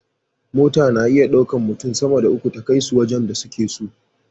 Mota na iya ɗaukan mutun sama da uku ta kai su wajan da suke so